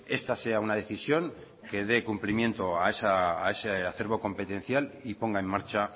esta sea una decisión que dé cumplimiento a ese acervo competencial y ponga en marcha